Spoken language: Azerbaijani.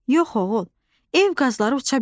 Yox, oğul, ev qazları uça bilmir.